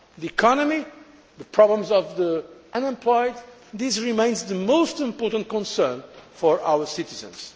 The economy, the problems of the unemployed, these remain the most important concerns for our citizens.